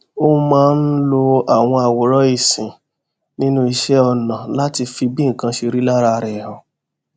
ó máa ń lo àwọn àwòrán ìsìn nínú iṣé ọnà láti fi bí nǹkan ṣe rí lára rè hàn